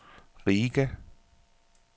Riga